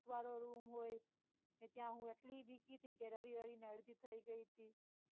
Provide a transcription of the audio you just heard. ભૂતવાળો room હોય ત્યાં હું એટલું બીતી તી કે રડી રડી ને અડધી થઇ ગઈ તી.